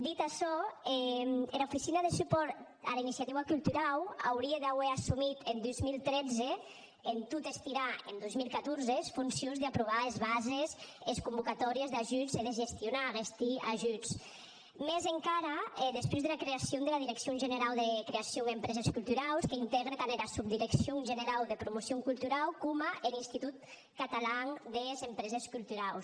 dit açò era oficina de supòrt ara iniciativa culturau aurie d’auer assumit en dos mil tretze en tot estirar en dos mil catorze es foncions d’aprovar es bases e es convocatòries d’ajudes e de gestionar aguestes ajudes mès encara despús dera creacion dera direccion generau de creacion e empreses culturaus qu’intègre tant era subdireccion generau de promocion culturau coma er institut catalan des empreses culturaus